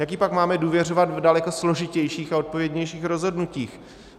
Jak jí pak máme důvěřovat v daleko složitějších a odpovědnějších rozhodnutích?